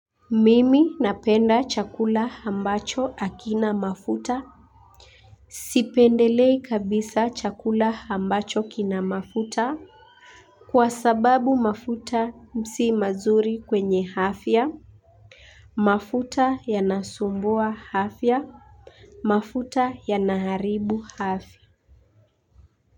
Mimi napenda chakula ambacho hakina mafuta. Sipendelei kabisa chakula ambacho kina mafuta kwa sababu mafuta si mazuri kwenye afya. Mafuta yanasumbua afya, mafuta yanaharibu afya.